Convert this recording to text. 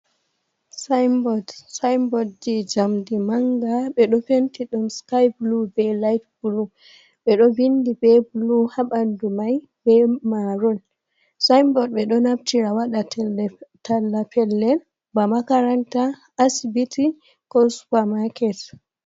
Saainbod, saainbod je njamdi manga, ɓe ɗo penti ɗum skaay-bulu, be laait-bulu, ɓe ɗo vindi be bulu ha ɓandu mai be maarun. Saainbod ɓe ɗo naftira waɗa talla pellel ba makaranta, asibiti, ko supamaaket.